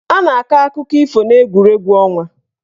A ga-akọ akụkọ ifo n'egwuregwu ọnwa.